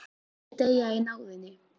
Ég mun ekki deyja í náðinni.